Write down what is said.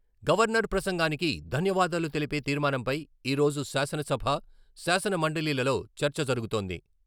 Governor ప్రసంగానికి ధన్యవాదాలు తెలిపే తీర్మానంపై ఈ రోజు శాసనసభ, శాసన మండలిలలో చర్చ జరుగుతోంది.